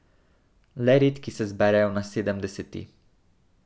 Le redki se zberejo na sedemdeseti.